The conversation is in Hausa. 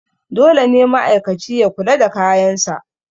dole ne ma'aikaci ya kula da kayansa